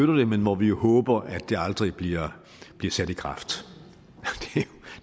det men hvor vi håber at det aldrig bliver sat i kraft